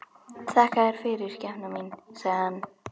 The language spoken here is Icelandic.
Þakka þér fyrir, skepnan mín, sagði hann.